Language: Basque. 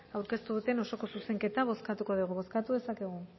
aurkeztu duten osoko zuzenketa bozkatuko dugu